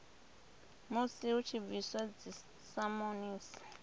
musi hu tshi bviswa dzisamonisi